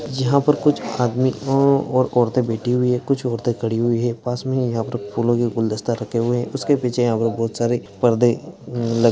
यहा पर कुछ आदमी और औरते बैठी हुई है कुछ औरते खड़ी हुई है पास यहा पर फूलो के गुलदस्ता रखे हुए है उसके पीछे यहा पर बहुत सारे पर्दे अ लगे --